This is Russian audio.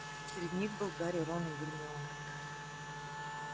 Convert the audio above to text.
среди них были гарри рон и гермиона